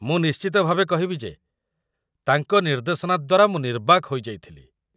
ମୁଁ ନିଶ୍ଚିତ ଭାବେ କହିବି ଯେ ତାଙ୍କ ନିର୍ଦ୍ଦେଶନା ଦ୍ୱାରା ମୁଁ ନିର୍ବାକ୍ ହୋଇଯାଇଥିଲି।